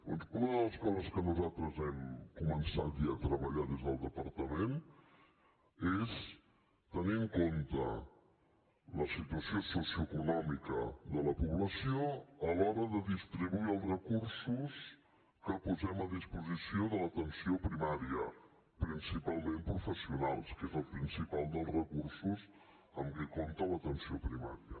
doncs una de les coses que nosaltres hem començat ja a treballar des del departament és tenir en compte la situació socioeconòmica de la població a l’hora de distribuir els recursos que posem a disposició de l’atenció primària principalment professionals que és el principal dels recursos amb què compta l’atenció primària